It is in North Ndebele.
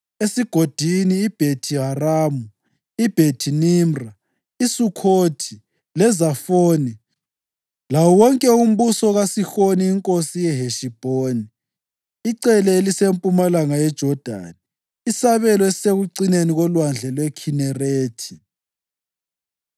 esigodini iBhethi-Haramu, iBhethi-Nimra, iSukhothi leZafoni lawo wonke umbuso kaSihoni inkosi yeHeshibhoni (icele elisempumalanga yeJodani, isabelo esisekucineni kolwandle lweKhinerethi).